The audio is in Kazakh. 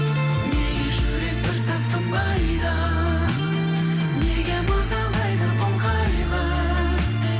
неге жүрек бір сәт тынбайды неге мазалайды бұл қайғы